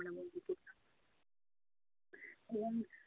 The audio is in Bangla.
এবং